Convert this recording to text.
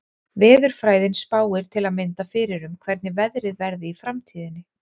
Veðurfræðin spáir til að mynda fyrir um hvernig veðrið verði í framtíðinni.